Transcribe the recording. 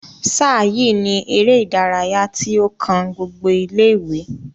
sáà yìi ni eré ìdárayá tí ó kan gbogbo ilé ìwé